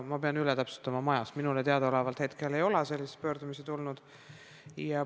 Ma pean üle täpsustama, aga minule teadaolevalt ei ole selliseid pöördumisi tulnud ka mitte ministeeriumisse.